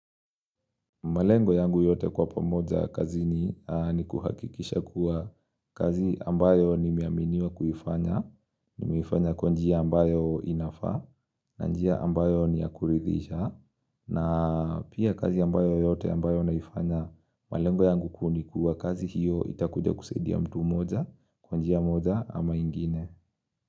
Malengo yangu yote kwa pamoja kazi ni kuhakikisha kuwa kazi ambayo nimeaminiwa kuifanya, ni miifanya kwanjia ambayo inafa, na njia ambayo ni yakuridhisha, na pia kazi ambayo yote ambayo naifanya malengo yangu kunikuwa kazi hiyo itakuja kusaidia mtu moja kwanjia moja ama ingine.